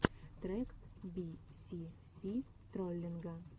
трек би си си троллинга